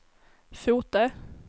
Fotö